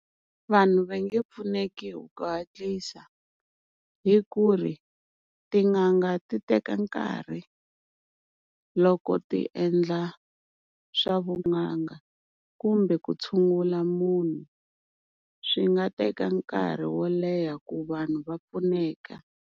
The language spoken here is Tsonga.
Vanhu va nge pfuneki hi ku hatlisa hi ku ri tin'anga ti teka nkarhi, loko ti endla swa vun'anga kumbe ku tshungula munhu swi nga teka nkarhi wo leha ku vanhu va pfuneka.